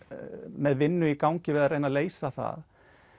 með vinnu í gangi við að leysa það